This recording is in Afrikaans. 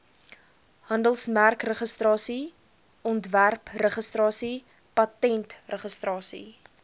handelsmerkregistrasie ontwerpregistrasie patentregistrasie